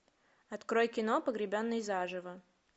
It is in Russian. открой кино погребенные заживо